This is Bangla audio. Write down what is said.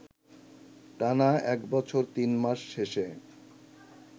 টানা এক বছর তিন মাস শেষে